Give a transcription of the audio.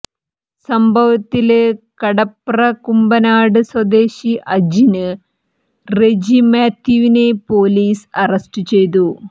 സംഭവത്തില് കടപ്ര കുമ്പനാട് സ്വദേശി അജിന് റെജി മാത്യുവിനെ പൊലീസ് അറസ്റ്റ് ചെയ്തു